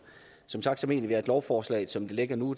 som sagt mener vi at lovforslaget som det ligger nu